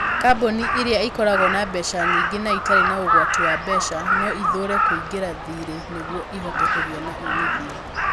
Kambuni ĩrĩa ĩkoragwo na mbeca nyingĩ na ĩtarĩ na ũgwati wa mbeca no ĩthuure kũingĩria thirĩ nĩguo ĩhote kũgĩa na uumithio.